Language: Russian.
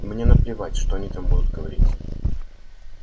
мне наплевать что они там будут говорить